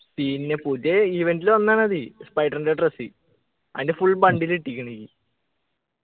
പിന്നെ പുതിയ event ൽ വന്നതാണത് spider ൻ്റെ dress അതിൻ്റെ full bundle കിട്ടിക്ക്ണ് എനിക്ക്